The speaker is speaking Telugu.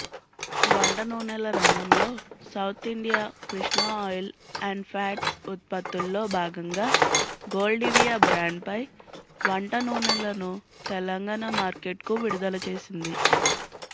వంట నూనెల రంగంలో సౌత్ఇండియా కృష్ణ ఆయిల్ అండ్ఫ్యాట్స్ ఉత్పత్తుల్లో భాగంగా గోల్డివియా బ్రాండ్పై వంంటనూనెలను తెలంగాణ మార్కెట్కు విడుదలచేసింది